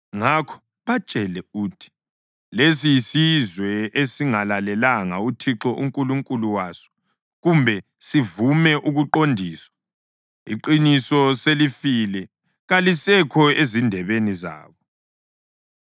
Ngakho batshele uthi, ‘Lesi yisizwe esingalalelanga uThixo uNkulunkulu waso kumbe sivume ukuqondiswa. Iqiniso selifile; kalisekho ezindebeni zabo.